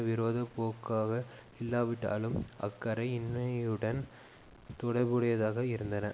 விரோதப்போக்காக இல்லாவிட்டாலும் அக்கறை இன்மையுடன் தொடர்புடையதாக இருந்தன